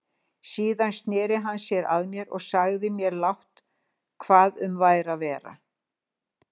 Síðan sneri hann sér að mér og sagði mér lágt hvað um væri að vera.